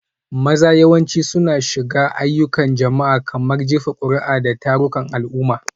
Maza yawanci suna shiga ayyukan jama'a, kamar jefa kuri'a da tarukan al'umma.